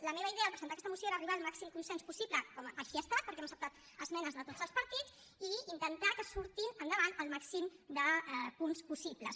la meva idea al presentar aquesta moció era arribar al màxim consens possible com així ha estat perquè hem acceptat esmenes de tots els partits i intentar que surti endavant el màxim de punts possible